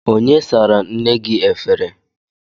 Onye sara nne gị efere?